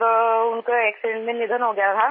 और उनका एक्सीडेंट में निधन हो गया था